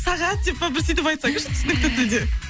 сағат деп па бір сөйтіп айтсаңызшы түсінікті тілде